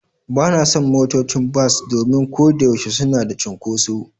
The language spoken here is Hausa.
Ba na son motocin bas domin ko da yaushe suna da cunkoso.